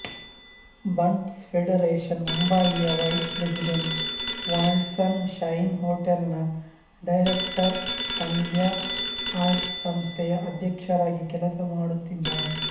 ಬಂಟ್ಸ್ ಫೆಡರೇಷನ್ಮುಂಬಯಿಯ vice president world sunshine hotel ನ director Sandhya arts ಸಂಸ್ಥೆಯ ಅಧ್ಯಕ್ಷರಾಗಿ ಕೆಲಸಮಾಡುತ್ತಿದ್ದಾರೆ